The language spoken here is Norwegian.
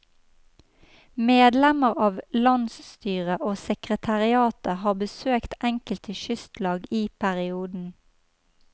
Medlemmer av landsstyret og sekretariatet har besøkt enkelte kystlag i perioden.